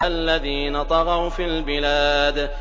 الَّذِينَ طَغَوْا فِي الْبِلَادِ